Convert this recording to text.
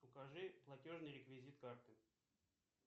покажи платежный реквизит карты